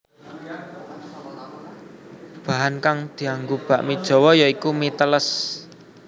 Bahan kang dianggo bakmi Jawa ya iku mi teles